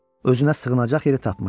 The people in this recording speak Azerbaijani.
Özünə sığınacaq yeri tapmışdı.